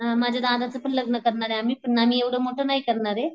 हम्म माझ्या दादाच पण लग्न करणारे आम्ही पण आम्ही एव्हडं मोठं नाही करणारे.